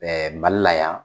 Mali la yan.